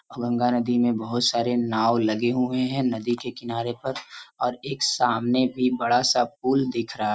गंगा नदी में बहुत सारे नाव लगे हुए हैंनदी के किनारे पर और एक सामने भी बड़ा सा पुल दिख रहा है|